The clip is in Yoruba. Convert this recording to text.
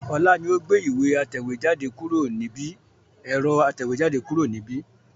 Ọlá ni ó gbé ẹ̀rọ atẹ̀wẹ́jade kúrò níbi